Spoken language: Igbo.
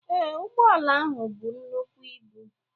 Ee, ụgbọala ahụ bu nnukwu ibu.